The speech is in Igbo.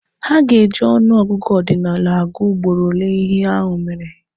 Ha ga-eji ọnụ ọgụgụ ọdinalụ agụ ugboro ole ihe ahụ mere.